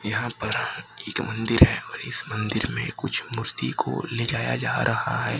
यहां पर एक मंदिर है और इस मंदिर में कुछ मूर्ति को ले जाया जा रहा है।